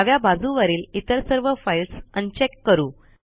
डाव्या बाजूवरील इतर सर्व फ़ाइल्स अनचेक करू